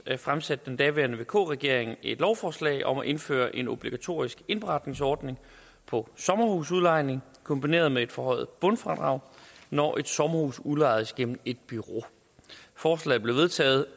fremsatte den daværende vk regering et lovforslag om at indføre en obligatorisk indberetningsordning for sommerhusudlejning kombineret med et forhøjet bundfradrag når et sommerhus udlejedes gennem et bureau forslaget blev vedtaget